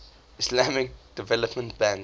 islamic development bank